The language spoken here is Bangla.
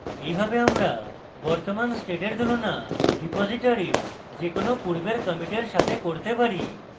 এইভাবে আমরা বর্তমান স্টেটের তুলনা রিপোসিটরীর যে কোনো পূর্বের কমিটের সাথে করতে পারি